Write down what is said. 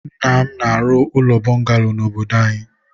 nna m na-arụ ụlọ bọngalo na obodo anyị.